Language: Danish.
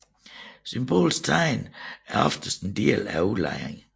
Symbolske tegn er oftest en del af udlejringen